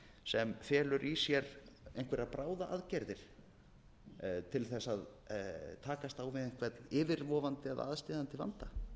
sem felur í sér einhverjar bráðaaðgerðir til þess að takast á við einhvern yfirvofandi eða aðsteðjandi vanda